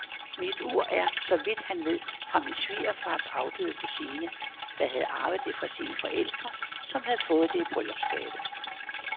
Mit ur er, så vidt han ved, fra min svigerfars afdøde kusine, der havde arvet det fra sine forældre, som havde fået det i bryllupsgave.